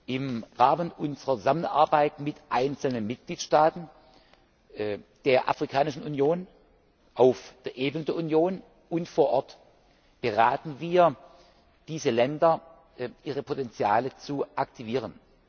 Im Rahmen unserer Zusammenarbeit mit einzelnen Mitgliedstaaten der Afrikanischen Union, auf der Ebene der Union und vor Ort beraten wir diese Länder, ihre Potenziale zu aktivieren.